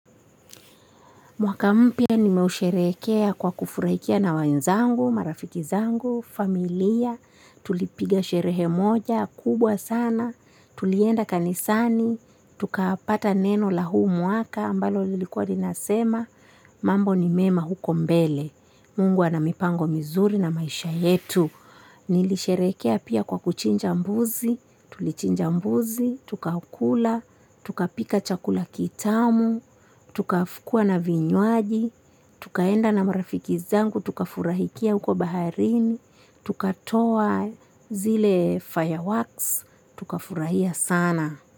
Mwaka mpya nimeusherekea kwa kufurahia na wenzangu, marafiki zangu, familia. Tulipiga sherehe moja kubwa sana, tulienda kanisani, tukapata neno la huu mwaka. Ambalo lilikuwa inasema, mambo ni mema huko mbele. Mungu ana mipango mizuri na maisha yetu. Nilisherekea pia kwa kuchinja mbuzi, tulichinja mbuzi, tukakula, tukapika chakula kitamu, tukakuwa na vinwaji, tukaenda na marafiki zangu, tukafurahikia huko baharini, tukatoa zile fireworks, tuka furahia sana.